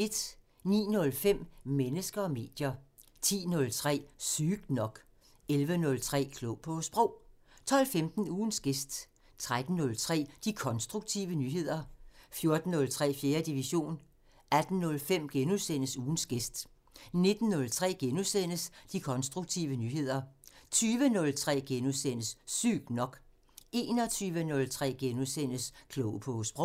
09:05: Mennesker og medier 10:03: Sygt nok 11:03: Klog på Sprog 12:15: Ugens gæst 13:03: De konstruktive nyheder 14:03: 4. division 18:05: Ugens gæst * 19:03: De konstruktive nyheder * 20:03: Sygt nok * 21:03: Klog på Sprog *